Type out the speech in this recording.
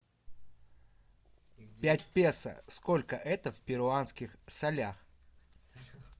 пять песо сколько это в перуанских солях